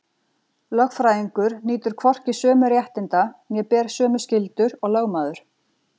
Lögfræðingur nýtur hvorki sömu réttinda né ber sömu skyldur og lögmaður.